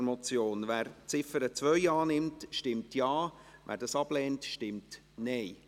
Wer diese annimmt, stimmt Ja, wer diese ablehnt, stimmt Nein.